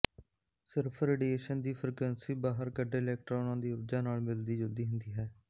ਸਿਰਫ ਰੇਡੀਏਸ਼ਨ ਦੀ ਫ੍ਰੀਕੁਐਂਸੀ ਬਾਹਰ ਕੱਢੇ ਇਲੈਕਟ੍ਰੌਨਾਂ ਦੀ ਊਰਜਾ ਨਾਲ ਮਿਲਦੀ ਜੁਲਦੀ ਹੁੰਦੀ ਹੈ